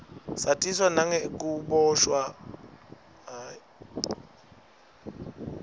satiswa nengukiboshwa kwamanbela